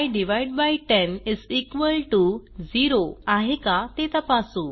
y100 आहे का ते तपासू